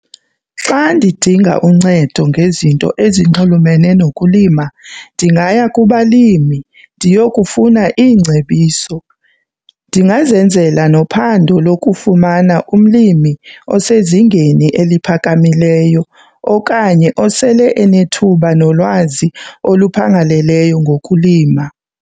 Xa ndidinga uncedo ngezinto ezinxulumene nokulima ndingaya kubalimi ndiyokufuna iingcebiso. Ndingazenzela nophando lokufumana umlimi osezingeni eliphakamileyo okanye osele enethuba nolwazi oluphangaleleyo ngokulima.